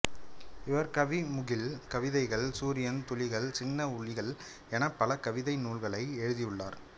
இவர் கவிமுகில் கவிதைகள் சூரியன் துளிகள் சின்ன உளிகள் என பல கவிதை நூல்களை எழுதியுள்ளார்